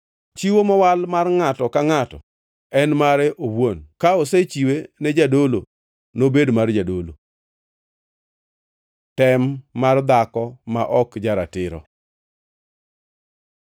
Chiwo mowal mar ngʼato ka ngʼato en mare owuon, ka osechiwe ne jadolo nobed mar jadolo.’ ” Tem mar dhako ma ok ja-ratiro